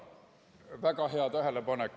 Väga hea tähelepanek!